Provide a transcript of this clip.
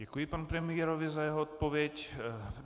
Děkuji panu premiérovi za jeho odpověď.